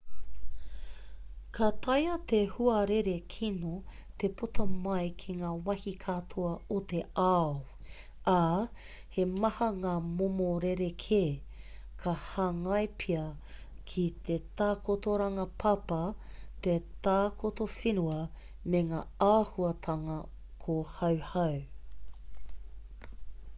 ka taea te huarere kino te puta mai ki ngā wāhi katoa o te ao ā he maha ngā momo rerekē ka hāngai pea ki te takotoranga papa te takoto whenua me ngā āhuatanga kōhauhau